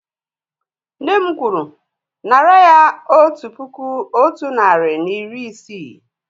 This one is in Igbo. Nne m kwuru, nárà ya otu puku otu narị na iri isii!